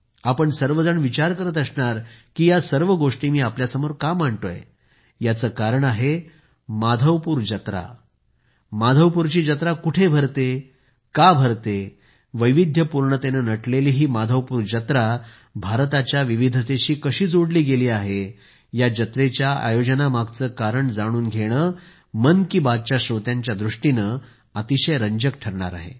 आपण सर्वजण विचार करीत असणार की या सर्व गोष्टी मी आपल्यासमोर का मांडतोय याचे कारण आहे माधवपूर जत्रा माधवपूरची जत्रा कुठे भरते का भरते वैविध्यपूर्णतेने नटलेली ही माधवपूर जत्रा भारताच्या विविधतेशी कशी जोडली गेली आहे या जत्रेच्या आयोजनामागचे कारण जाणून घेणे मन की बात च्या श्रोत्यांच्यादृष्टीने अतिशय रंजक ठरणार आहे